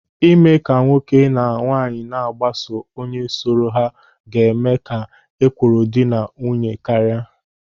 Ịme ka nwoke na nwaanyị na-agbaso onye sọrọ ha ga-eme ka ekworo dị na nwunye karịa.